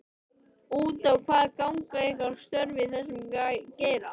Út á hvað ganga ykkar störf í þessum geira?